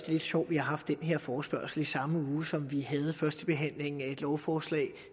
lidt sjovt vi har haft den her forespørgsel i den samme uge som vi havde førstebehandlingen af et lovforslag